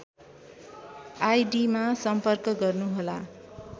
आइडिमा सम्पर्क गर्नुहोला